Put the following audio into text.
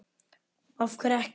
Andri: Af hverju ekki?